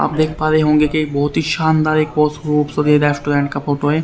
आप देख पा रहे होंगे की एक बहोत ही शानदार रेस्टोरेंट का फोटो है।